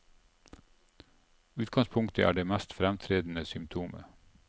Utgangspunktet er det mest fremtredende symptomet.